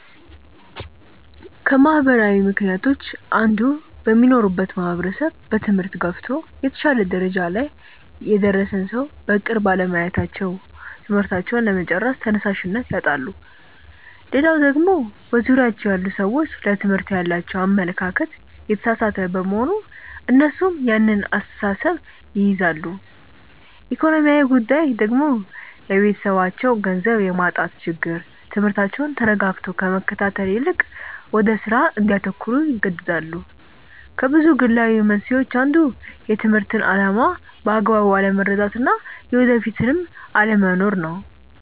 ከማህበራዊ ምክንያቶች አንዱ በሚኖሩበት ማህበረሰብ በትምህርት ገፍቶ የተሻለ ደረጃ ላይ የደረሰን ሰው በቅርብ አለማየታቸው ትምህርታቸውን ለመጨረስ ተነሻሽነት ያጣሉ። ሌላው ደግሞ በዙሪያቸው ያሉ ሰዎች ለትምህርት ያላቸው አመለካከት የተሳሳተ በመሆን እነሱም ያን አስተሳሰብ ይይዛሉ። ኢኮኖሚያዊ ጉዳይ ደግሞ የቤተሰባቸው ገንዘብ የማጣት ችግር ትምህርታቸውን ተረጋግቶ ከመከታተል ይልቅ ወደ ስራ እንዲያተኩሩ ይገደዳሉ። ከብዙ ግላዊ መንስኤዎች አንዱ የትምህርትን አላማ በአግባቡ አለመረዳት እና የወደፊት ህልም አለመኖር ነው።